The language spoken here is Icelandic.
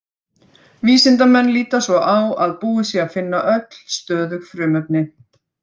Vísindamenn líta svo á að búið sé að finna öll stöðug frumefni.